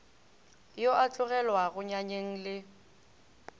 yo a tlogelwago nyanyeng le